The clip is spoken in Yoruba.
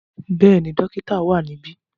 Bẹ́ẹ̀ni, dokita wa nibi.